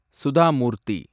Sudha Murthy